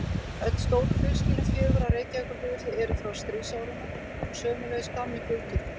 Öll stóru flugskýlin fjögur á Reykjavíkurflugvelli eru frá stríðsárunum og sömuleiðis gamli flugturninn.